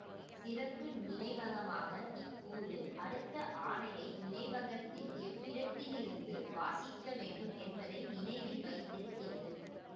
சிறப்பு நினைவகமான இக் கூறு அடுத்த ஆணையை நினைவகத்தின் எவ்விடத்திலிருந்து வாசிக்க வேண்டும் என்பதை நினைவில் வைத்திருக்கிறது